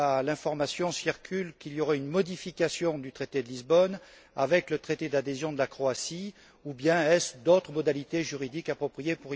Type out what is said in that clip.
L'information circule qu'il y aurait une modification du traité de Lisbonne, avec le traité d'adhésion de la Croatie, ou bien s'agit il d'autres modalités juridiques appropriées?